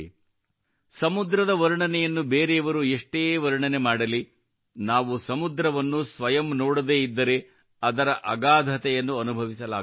ಸಮುದ್ರವನ್ನು ಬೇರೆಯವರು ಎಷ್ಟೇ ವರ್ಣನೆ ಮಾಡಲಿ ನಾವು ಸಮುದ್ರವನ್ನು ಸ್ವಯಂ ನೋಡದೇ ಇದ್ದರೆ ಅದರ ಅಗಾಧತೆಯನ್ನು ಅನುಭವಿಸಲಾಗುವುದಿಲ್ಲ